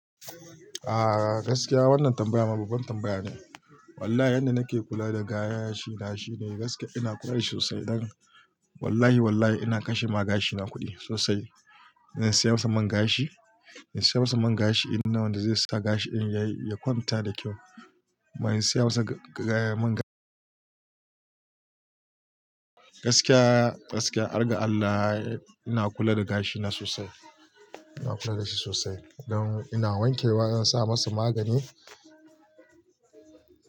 A gaskiya wannan tambaya ma baban tambaya ne. Wallahi yanda nake kula da gayen gashi na shine gaskiya ina kula da shi sosai don wallahi wallahi ina kashe ma gashina kuɗi sosai. Ina siya masa man gashi, ina siya masa man gashi inda wanda zai sa gashi in yayi ya kwanta da kyau. Ma ina siya masa ga-ga-man ga Gaskiya gaskiya, harga Allah ina kula da gashi na sosai. Ina kula da shi sosai don ina wanke wa, ina sa masa magani.